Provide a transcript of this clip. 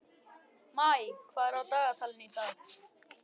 Maj, hvað er á dagatalinu í dag?